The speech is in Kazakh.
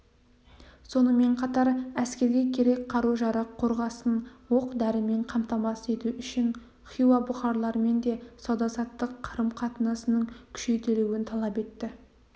сонымен қатар әскерге керек қару-жарақ қорғасын оқ-дәрімен қамтамасыз ету үшін хиуа бұқарлармен де сауда-саттық қарым-қатынасының күшейтілуін талап етті